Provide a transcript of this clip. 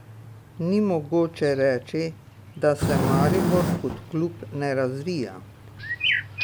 Ni mogoče reči, da se Maribor kot klub ne razvija.